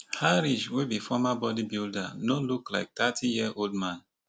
Harish wey be former bodybuilder no look like thirty year old man